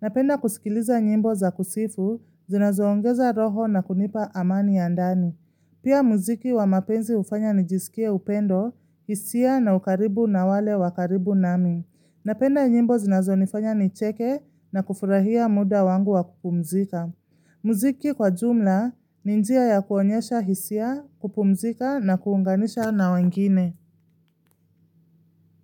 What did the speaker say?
Napenda kusikiliza nyimbo za kusifu, zinazoongeza roho na kunipa amani ya ndani. Pia muziki wa mapenzi ufanya nijisikie upendo, hisia na ukaribu na wale wa karibu nami. Napenda nyimbo zinazo nifanya nicheke na kufurahia muda wangu wa kupumzika. Muziki kwa jumla ni njia ya kuonyasha hisia, kupumzika na kuunganisha na wengine.